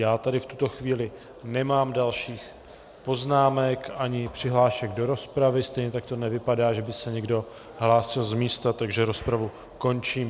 Já tady v tuto chvíli nemám dalších poznámek, ani přihlášení do rozpravy, stejně tak to nevypadá, že by se někdo hlásil z místa, takže rozpravu končím.